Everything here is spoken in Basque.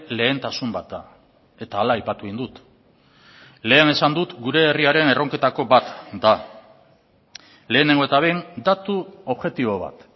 lehentasun bat da eta hala aipatu egin dut lehen esan dut gure herriaren erronketako bat da lehenengo eta behin datu objektibo bat